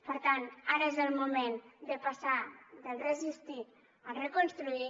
per tant ara és el moment de passar del resistir al reconstruir